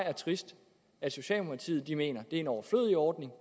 er trist at socialdemokratiet mener det er en overflødig ordning